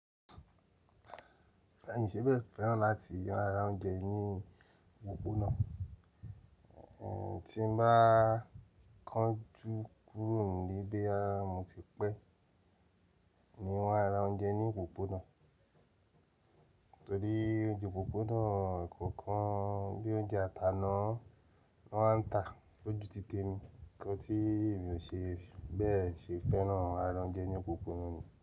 Ẹ̀yin ṣe ẹ bẹ̀ẹ̀ fẹ́ràn láti ra oúnjẹ ní òpópónà? Tí n bá kánjú kúrò n'lé bóyá mo ti pẹ́, ni wọ́n á ra oúnjẹ ní òpópónà. Torí oúnjẹ òpópónà kankan bíi oúnjẹ àtàná lọ máa ń ta lójú titẹ mi. Nígbà tí mi ò ṣe bẹ́ẹ̀ ṣe fẹ́ràn ara oúnjẹ ní òpópónà ni.